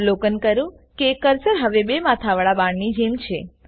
અવલોકન કરો કે કર્સર હવે બે માથાવાળા બાણની જેમ છે